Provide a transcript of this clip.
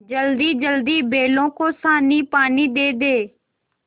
जल्दीजल्दी बैलों को सानीपानी दे दें